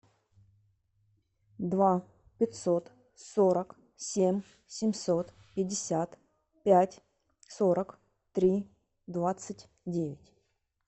два пятьсот сорок семь семьсот пятьдесят пять сорок три двадцать девять